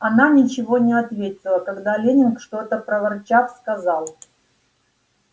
она ничего не ответила когда леннинг что-то проворчав сказал